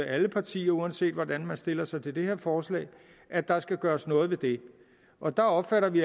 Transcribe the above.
alle partier uanset hvordan man stiller sig til det her forslag at der skal gøres noget ved det og der opfatter vi